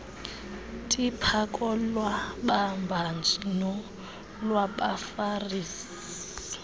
tipha kolwababhaji nolwabafarisi